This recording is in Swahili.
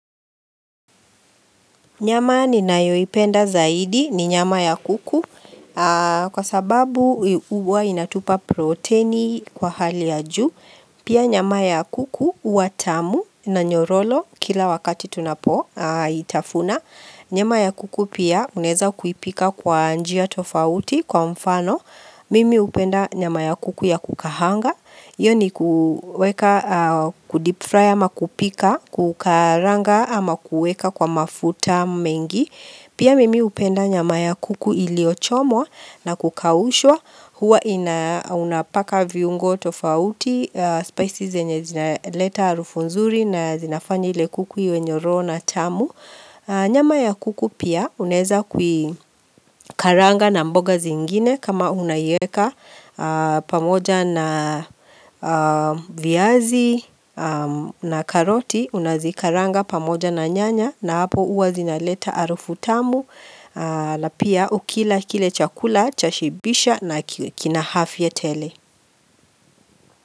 Nyama ninayoipenda zaidi ni nyama ya kuku kwa sababu huwa inatupa proteini kwa hali ya juu. Pia nyama ya kuku huwa tamu na nyororo kila wakati tunapoitafuna. Nyama ya kuku pia unaeza kuipika kwa njia tofauti kwa mfano. Mimi hupenda nyama ya kuku ya kukaanga. Iyo ni kuweka kudip fry ama kupika, kukaranga ama kueka kwa mafuta mengi. Pia mimi hupenda nyama ya kuku iliyochomwa na kukaushwa, huwa inaunapaka viungo tofauti, spices zenye zinaleta arufu nzuri na zinafanya ile kuku iwe nyororo na tamu. Nyama ya kuku pia unaeza kuikaranga na mboga zingine kama unaieka pamoja na viazi na karoti unazikaranga pamoja na nyanya na hapo huwa zinaleta harufu tamu na hapo pia ukila kile chakula chashibisha na kina afya tele.